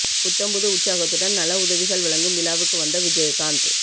புத்தம் புது உற்சாகத்துடன் நல உதவிகள் வழங்கும் விழாவுக்கு வந்த விஜயகாந்த்